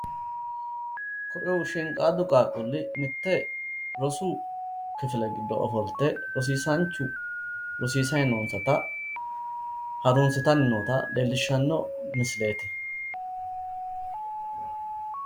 koye shiinqaaddu qaaqquulli mitte rosu kifile giddo ofolte rosiisaanchu rosiisayi nonsata harunsitanni noota leellishshanno misileeti.